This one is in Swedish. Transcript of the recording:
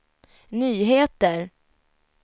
nyheter